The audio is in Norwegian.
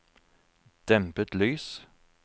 dempet lys